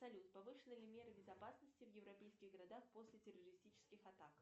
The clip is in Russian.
салют повышены ли меры безопасности в европейских городах после террористических атак